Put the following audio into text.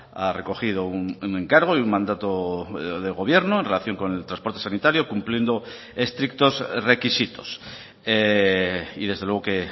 ha recogido un encargo y un mandato del gobierno en relación con el transporte sanitario cumpliendo estrictos requisitos y desde luego que